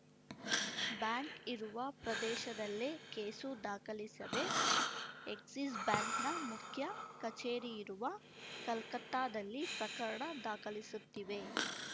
bank ಇರುವ ಪ್ರದೇಶದಲ್ಲೇ case ದಾಖಲಿಸದೆ ಎಕ್ಸಿಸ್‌ ಬ್ಯಾಂಕ್‌ನ ಮುಖ್ಯ ಕಚೇರಿಯಿರುವ ಕಲ್ಕತ್ತಾದಲ್ಲಿ ಪ್ರಕರಣ ದಾಖಲಿಸುತ್ತಿವೆ